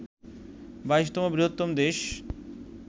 ২২তম বৃহত্তম দেশ